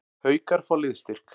Haukar fá liðsstyrk